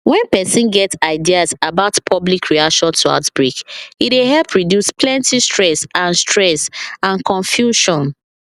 when person get ideas about public reaction to outbreak e dey help reduce plenty stress and stress and confusion